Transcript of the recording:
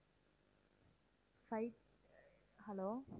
five hello